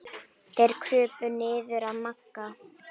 Þeir krupu niður að Magga.